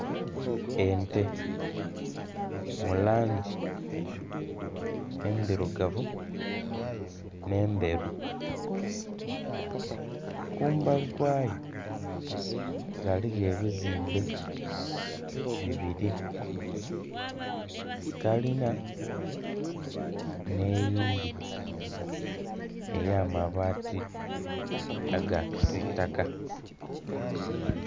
Ente mu langi endhirugavu nh'endheru. Kumbali kwayo ghaligho ebizimbe bibiri, kalina nh'eyindhi ey'amabaati aga kisiitaka.